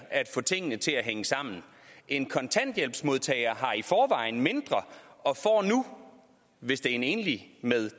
at få tingene til at hænge sammen en kontanthjælpsmodtager har i forvejen mindre og får nu hvis det er en enlig med